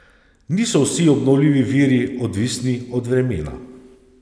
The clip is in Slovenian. Niso vsi obnovljivi viri odvisni od vremena.